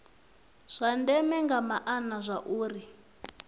zwa ndeme nga maana zwauri